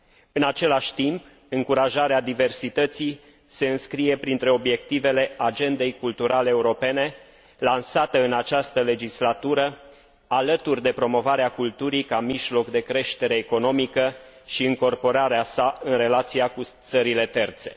În același timp, încurajarea diversității se înscrie printre obiectivele agendei culturale europene, lansată în această legislatură alături de promovarea culturii ca mijloc de creștere economică și încorporarea sa în relația cu țările terțe.